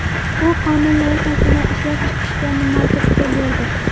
Bu qonun loyihasini ishlab chiqishga nima turtki berdi?